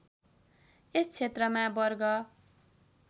यस क्षेत्रमा वर्ग